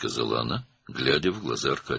Arkadiyə baxaraq dedi.